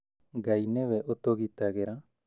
Ngai nĩwe ũtũgitagĩra